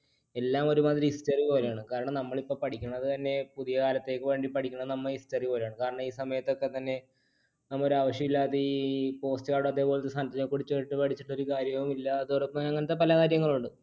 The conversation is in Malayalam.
എല്ലാം ഒരു മാതിരി history പോലെയാണ്. കാരണം നമ്മൾ ഇപ്പൊ പഠിക്കണതുതന്നെ പുതിയ കാലത്തേക്ക് വേണ്ടി പഠിക്കണത് നമ്മൾ history പോലെയാണ്. കാരണം ഈ സമയതൊക്കെത്തന്നെ നമുക്കൊരു ആവശ്യമില്ലാതെ ഈ postcard അതേപോലത്തെ സാധനങ്ങളെ കുറിച്ചിട്ട് പഠിച്ചിട്ട് ഒരു കാര്യവുമില്ല അങ്ങനത്തെ പല കാര്യങ്ങളുണ്ട്.